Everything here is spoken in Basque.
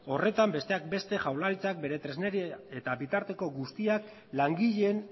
horretan besteak beste jaurlaritzak bere tresneri eta bitarteko guztiak langileen